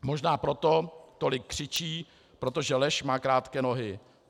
Možná proto tolik křičí, protože lež má krátké nohy.